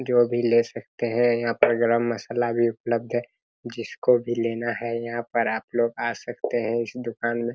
जो भी ले सकते हैं यहाँ पर गरम मसाला भी उपलब्ध है जिस को भी लेना है यहां पर आप लोग आ सकते है दुकान में।